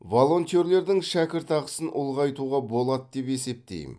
волонтерлердің шәкіртақысын ұлғайтуға болады деп есептеймін